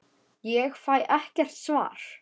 Ég fæ ekkert svar.